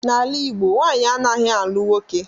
N'ala Igbo nwaanyị anaghị alụ nwoke